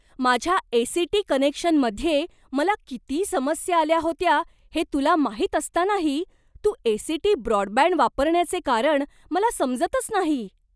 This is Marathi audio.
माझ्या ए.सी.टी. कनेक्शनमध्ये मला किती समस्या आल्या होत्या हे तुला माहीत असतानाही तू ए.सी.टी. ब्रॉडबँड वापरण्याचे कारण मला समजतच नाही.